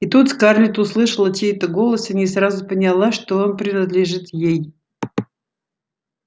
и тут скарлетт услышала чей-то голос и не сразу поняла что он принадлежит ей